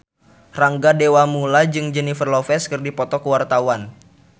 Rangga Dewamoela jeung Jennifer Lopez keur dipoto ku wartawan